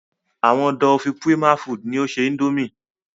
Àwọn "Dufil Prima Foods" ni o ṣe Índòmí.